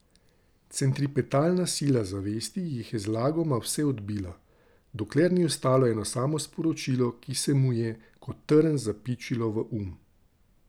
Centripetalna sila zavesti jih je zlagoma vse odbila, dokler ni ostalo eno samo sporočilo, ki se mu je kot trn zapičilo v um.